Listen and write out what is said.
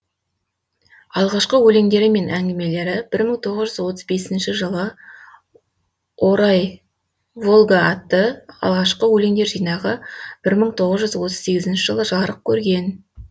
алғашқы өлеңдері мен әңгімелері бір мың тоғыз жүз отыз бесінші жылы орау волга атты алғашқы өлеңдер жинағы бір мың тоғыз жүз отыз сегізінші жылы жарық көрген